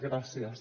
gràcies